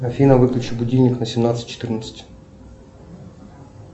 афина выключи будильник на семнадцать четырнадцать